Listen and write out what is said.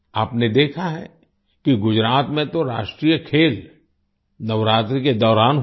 आपने देखा है कि गुजरात में तो राष्ट्रीय खेल नवरात्रि के दौरान हुए